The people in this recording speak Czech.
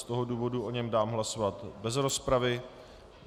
Z toho důvodu o něm dám hlasovat bez rozpravy.